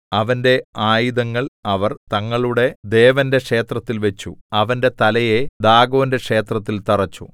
അവന്റെ ആയുധങ്ങൾ അവർ തങ്ങളുടെ ദേവന്റെ ക്ഷേത്രത്തിൽ വച്ചു അവന്റെ തലയെ ദാഗോന്റെ ക്ഷേത്രത്തിൽ തറെച്ചു